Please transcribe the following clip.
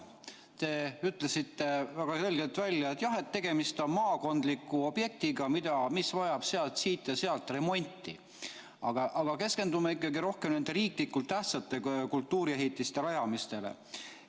Te ütlesite väga selgelt välja, et jah, tegemist on maakondliku objektiga, mis vajab siit ja sealt remonti, aga meie keskendume ikkagi rohkem nende riiklikult tähtsate kultuuriehitiste rajamisele.